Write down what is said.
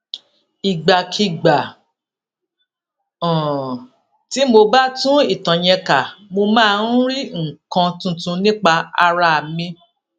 ìgbàkigbà um tí mo bá tún ìtàn yẹn kà mo máa ń rí nǹkan tuntun nípa ara mi